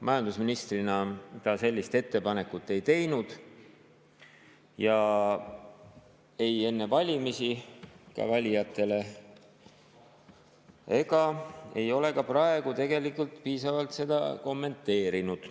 Majandusministrina ta sellist ettepanekut ei teinud, ei enne valimisi valijatele ega ole ka praegu tegelikult piisavalt seda kommenteerinud.